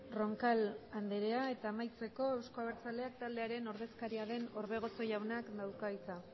roncal andrea eta amaitzeko euzko abertzaleak taldearen ordezkaria den orbegozo jaunak dauka hitza